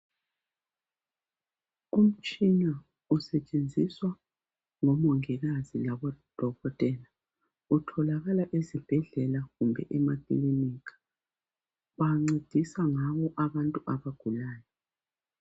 Umtshina usetshenziswa ngomongikazi labodokotela utholakala ezibhedlela kumbe emakilinika bancedisa ngawo abantu abagulayo.